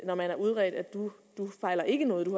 når man er udredt du fejler ikke noget du